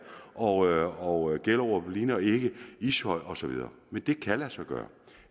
og gjellerup ligner ikke ishøj og så videre men det kan lade sig gøre